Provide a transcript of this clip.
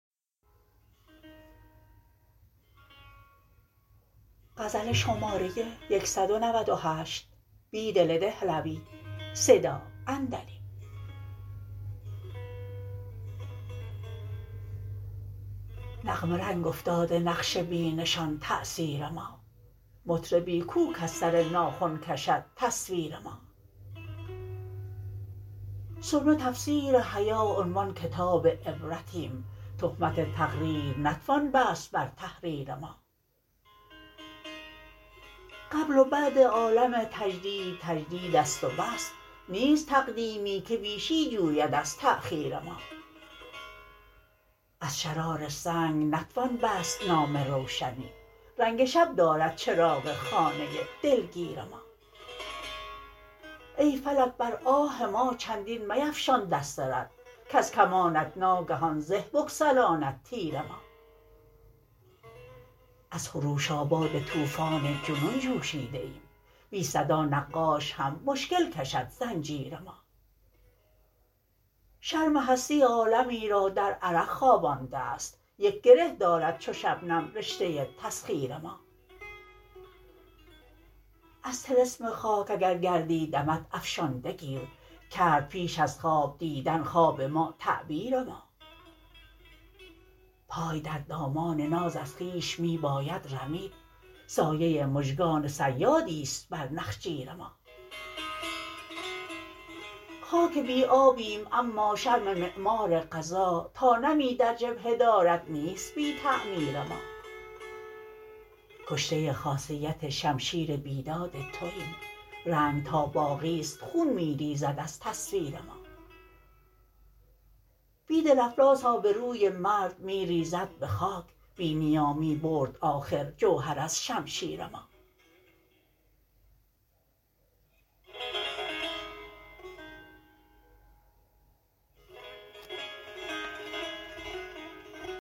نغمه رنگ افتاده نقش بی نشان تأثیر ما مطربی کوکز سر ناخن کشد تصویر ما سرمه تفسیر حیا عنوان کتاب عبرتیم تهمت تقریرنتوان بست برتحریر ما قبل و بعد عالم تجدید تجدید است و بس نیست تقدیمی که بیشی جوید ازتأخیر ما از شرار سنگ نتوان بست نام روشنی رنگ شب درد چراغ خانه دلگیر ما ای فلک بر آه ما چندین میفشان دست رد کزکمانت ناگهان زه بگسلاند تیر ما از خروش آباد توفان جنون جو شیده ایم بی صدا نقاش هم مشکل کشد زنجیر ما شرم هستی عالمی را در عرق خوابانده است یک گره دارد چو شبنم رشته تسخیر ما از طلسم خاک اگرگردی دمد افشانده گیر کرد پیش از خواب دیدن خواب ما تعبیر ما پای در دامان ناز از خویش می باید رمید سایه مژگان صیادی ست بر نخجیر ما خاک بی آبیم اما شرم معمار قضا تا نمی در جبهه دارد نیست بی تعمیر ما کشته خاصیت شمشیر بیداد توایم رنگ تا باقی ست خون می ریزد ازتصویر ما بیدل افلاس آبروی مرد می ریزد به خاک بی نیامی برد آخر جوهر از شمشیر ما